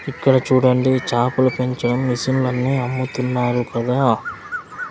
ఇక్కడ చూడండి చాపలు పెంచే మిషన్లన్నీ అమ్ముతున్నారు కదా.